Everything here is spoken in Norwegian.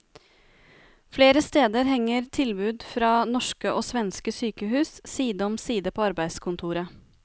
Flere steder henger tilbud fra norske og svenske sykehus side om side på arbeidskontoret.